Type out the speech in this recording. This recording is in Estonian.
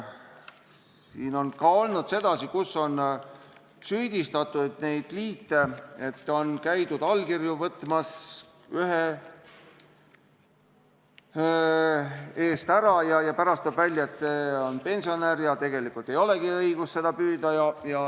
Siin on ka süüdistatud neid liite, et on käidud allkirju võtmas ja pärast tuleb välja, et inimene on pensionär ja tegelikult ei olegi õigust püüda.